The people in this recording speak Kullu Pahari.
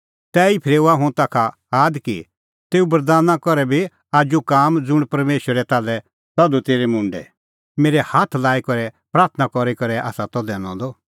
तैही फरेऊआ हुंह ताखा आद कि तेऊ बरदाना करै कर भी आजू काम ज़ुंण परमेशरै ताल्है तधू तेरै मुंडै मेरै हाथ लाई प्राथणां करी करै आसा दैनअ द